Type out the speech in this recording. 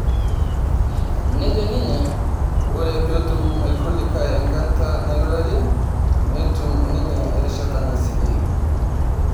Nejo ninye ore peetum irkulikae enkata nairurare netim ninye erishata naisikie